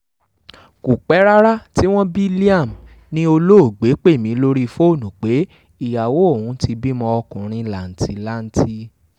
kò pẹ́ rárá tí wọ́n bí liam ni olóògbé pè mí lórí fóònù pé ìyàwó òun ti bímọ ọkùnrin làǹtì-lanti